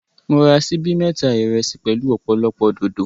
Mo ra síbí mẹ́ta ìrẹsì pẹ̀lú ọ̀pọ̀lọpọ̀ dòdò.